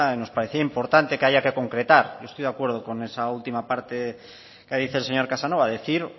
nos parecía importante que haya que concretar yo estoy de acuerdo con esa última parte que dice el señor casanova